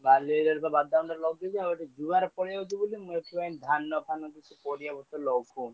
ବାଲି area ରେ ତ ବାଦାମ ଲଗେଇଛି ଆଉ। ଏଠି ଜୁଆର ଆସୁଛି ବୋଲି ମୁଁ ଏଠି ଧାନ ଫାନ କିଛି ପରିବା ପତ୍ର ଲଗଉନି।